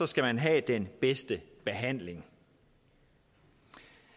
skal man have den bedste behandling